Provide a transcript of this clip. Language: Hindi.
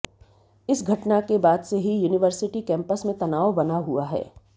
इस घटना के बाद से ही यूनिवर्सिटी कैंपस में तनाव बना हुआ है